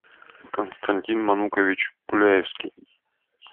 константин манукович пуляевский